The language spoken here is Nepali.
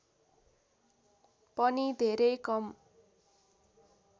पनि धेरै कम